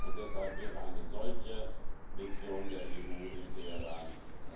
Und deshalb wäre eine solche Mission der EU in Teheran exakt das Richtige.